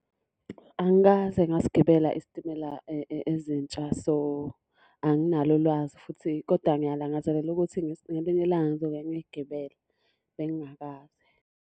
Angikaze ngasigibela isitimela ezintsha, so, anginalo ulwazi futhi koda ngiyalangazelela ukuthi ngelinye ilanga ngizoke ngigibele, bengingakaze.